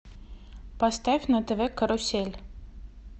поставь на тв карусель